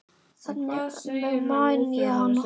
Þannig man ég hana.